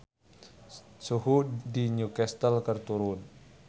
Suhu di Newcastle keur turun